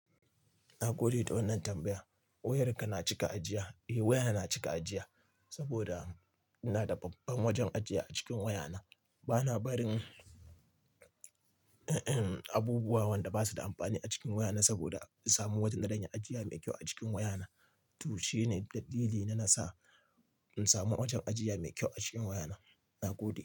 Nagode da wannan tambaya. Wayarka na cika ajiya. Eh waya na cika ajiya saboda ina da babban wajen ajiya a cikin wayana. Bana barin abubuwa wanda basu da amfani a cikin wayana saboda in samu wajen da zan iya ajiya mai kyau a cikin wayana. To shine dalili na nasa in samu wajen ajiya mai kyau a cikin wayana. Nagode.